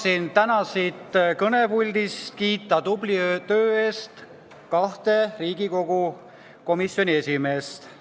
Tahan täna siit kõnepuldist kiita tubli töö eest kahte Riigikogu komisjoni esimeest.